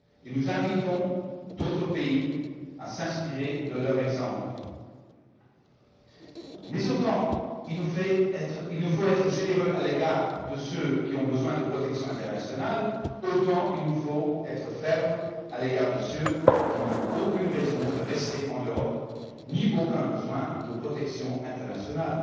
Nous invitons d'autres pays à s'inspirer de leur exemple. En revanche, si nous devons être généreux à l'égard de ceux qui ont besoin de protection internationale, nous devons être fermes à l'égard de ceux qui n'ont aucune raison de rester en Europe, ni aucun besoin de protection internationale.